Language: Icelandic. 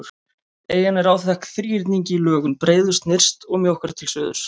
Eyjan er áþekk þríhyrningi í lögun, breiðust nyrst og mjókkar til suðurs.